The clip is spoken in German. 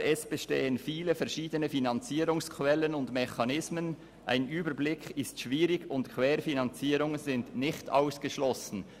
] aber es bestehen viele verschiedene Finanzierungsquellen und -mechanismen, ein Überblick ist schwierig und Querfinanzierungen sind nicht ausgeschlossen.